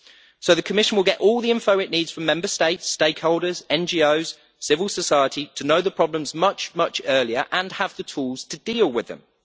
So the Commission will get all the information it needs from Member States, stakeholders, NGOs and civil society in order to know the problems much, much earlier and have the tools to deal with them.